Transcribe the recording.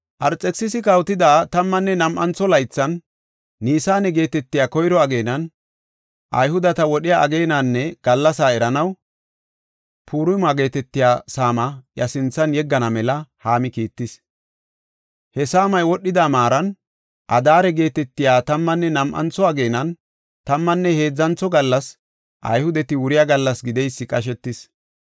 Arxekisisi kawotida tammanne nam7antho laythan, Nisaane geetetiya koyro ageenan, Ayhudeta wodhiya ageenanne gallasa eranaw, Purima geetetiya saamaa iya sinthan yeggana mela Haami kiittis. He saamay wodhida maaran, Adaare geetetiya tammanne nam7antho ageenan, tammanne heedzantho gallas Ayhudeti wuriya gallas gideysi qashetis.